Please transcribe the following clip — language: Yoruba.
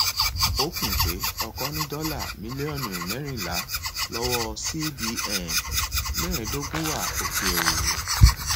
ó kùn pé ọkọ ní dọlà mílíọnù mẹrìnlá lọwọ cbn mẹẹdógún wà òkèèrè